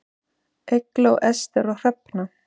Eygló, Ester og Hrefna.